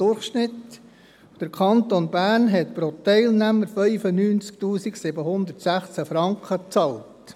Der Kanton Bern hat pro Teilnehmer 95 716 Franken bezahlt.